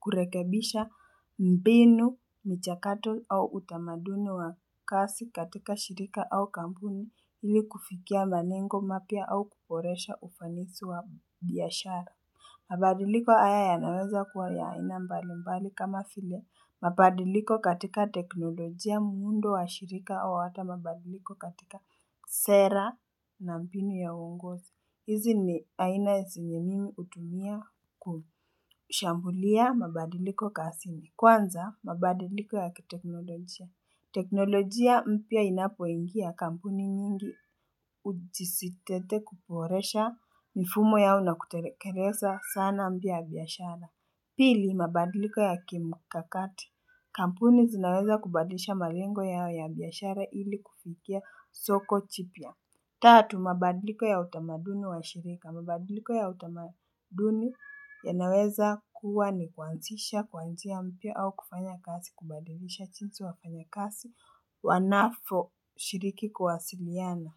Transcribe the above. kurekebisha mbinu mchakato au utamaduni wa kazi katika shirika au kampuni ili kufikia malengo mapya au kuboresha ufanisi wa biashara mabadiliko haya yanaweza kuwa yaaina mbalimbali kama vile mabadiliko katika teknolojia muundo wa shirika wa watu mabadiliko katika sera na mbinu ya uongozi izi ni aina zenye mimi hutumia kushambulia mabadiliko kazini. Kwanza mabadiliko ya kiteknolojia. Teknolojia mpya inapoingia kampuni nyingi ujisitete kuboresha mifumo yao na kutelekeza sana mpya ya biyashara. Pili mabadiliko ya kimkakati. Kampuni zinaweza kubadilisha malengo yao ya biyashara ili kufikia soko jipia. Tatu mabadiliko ya utamaduni wa shirika mabadiliko ya utamaduni yanaweza kuwa ni kuanzisha kuanzia mpya au kufanya kazi kubadilisha jinsi wafanyikazi wanavyo shiriki kuwasiliana.